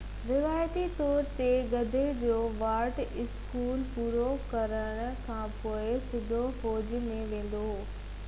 روايتي طور تي گدي جو وارث اسڪول پورو ڪرڻ کانپوءِ سڌو فوج ۾ ويندو هو